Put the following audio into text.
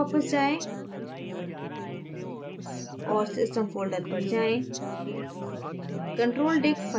एक स्तर तक वापस जाएँ और system folder पर जाएँ